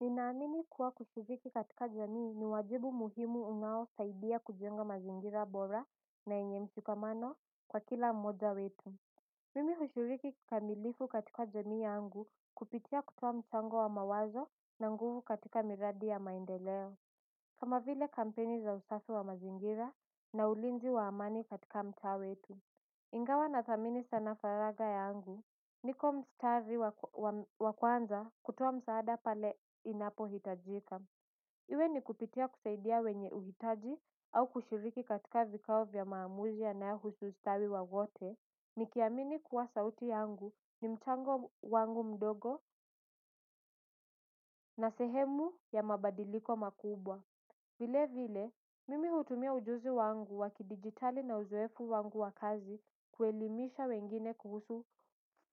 Nina amini kuwa kushiriki katika jamii ni wajibu muhimu unao saidia kujenga mazingira bora na yenye mshikamano kwa kila mmoja wetu mimi hushiriki kikamilifu katika jamii yangu kupitia kutoa mchango wa mawazo na nguvu katika miradi ya maendeleo kama vile kampeni za usafi wa mazingira na ulinzi waamani katika mtaa wetu. Ingawa na thamini sana faraga yangu, niko mstari wakwanza kutoa msaada pale inapohitajika. Iwe ni kupitia kusaidia wenye uhitaji au kushiriki katika vikao vyamaamuzi yanayo husu stawi wawote. Nikiamini kuwa sauti yangu ni mchango wangu mdogo na sehemu ya mabadiliko makubwa. Vile vile, mimi hutumia ujuzi wangu wakidijitali na uzoefu wangu wakazi kuelimisha wengine kuhusu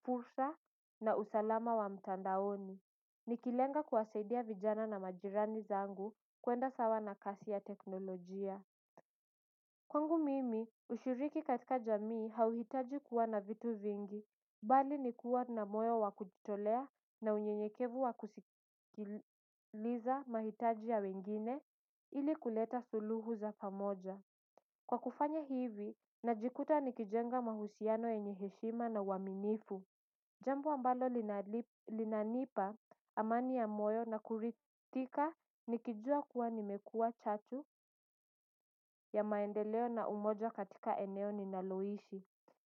fursa na usalama wa mtandaoni. Nikilenga kuwasaidia vijana na majirani zangu kuenda sawa na kasi ya teknolojia kwangu mimi, ushiriki katika jamii hauhitaji kuwa na vitu vingi. Mbali nikuwa na moyo wakujitolea na unyenyekevu wakusikiliza mahitaji ya wengine ili kuleta suluhu za pamoja kwa kufanya hivi, najikuta nikijenga mahusiano yenye heshima na uwaminifu jambo ambalo linanipa amani ya moyo na kuridhika nikijua kuwa nimekua chatu ya maendeleo na umoja katika eneo ninaloishi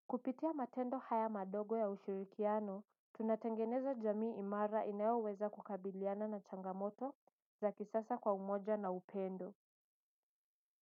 kupitia matendo haya madogo ya ushurikiano. Tunatengeneza jamii imara inayoweza kukabiliana na changamoto za kisasa kwa umoja na upendo.